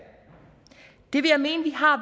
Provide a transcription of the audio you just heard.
det vil jeg mene vi har